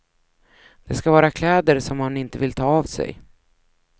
Det ska vara kläder som man inte vill ta av sig.